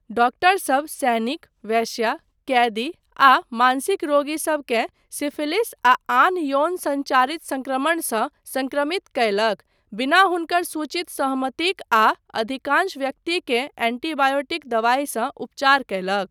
डॉक्टरसब सैनिक, वेश्या, कैदी आ मानसिक रोगीसबकेेँ सिफिलिस आ आन यौन सञ्चारित सङ्क्रमणसँ सङ्क्रमित कयलक, बिना हुनकर सूचित सहमतिक, आ अधिकांश व्यक्तिकेँ एन्टीबायोटिक दबाइसँ उपचार कयलक।